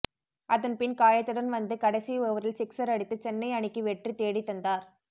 அதன் பின் காயத்துடன் வந்து கடைசி ஓவரில் சிக்ஸர் அடித்து சென்னை அணிக்கு வெற்றி தேடித்தந்தார்